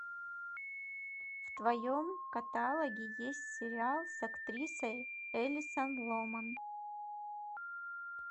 в твоем каталоге есть сериал с актрисой элисон ломан